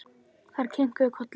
Þær kinkuðu kolli.